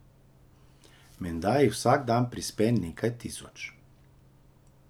Menda jih vsak dan prispe nekaj tisoč.